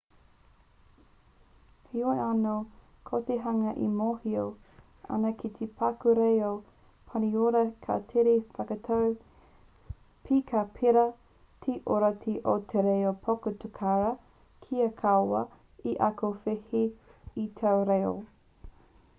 heoi anō ko te hunga e mōhio ana ki te paku reo pāniora ka tere whakatau pea ka pērā te ōrite o te reo potukara kia kaua e ako wehe i taua reo